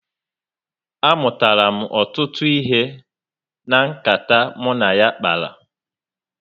A mụtara m ọtụtụ ihe na nkata m na ya kpara